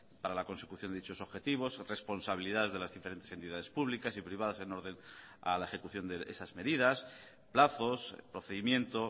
para la consecución de dichos objetivos responsabilidades de las diferentes entidades públicas y privadas en orden a la ejecución de esas medidas plazos procedimiento